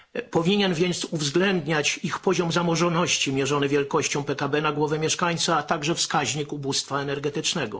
Powinien więc uwzględniać ich poziom zamożności mierzony wielkością PKB na mieszkańca, a także wskaźnik ubóstwa energetycznego.